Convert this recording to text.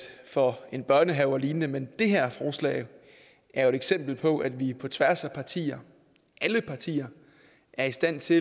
for en børnehave og lignende men det her forslag er jo et eksempel på at vi på tværs af partier alle partier er i stand til